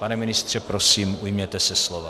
Pane ministře, prosím, ujměte se slova.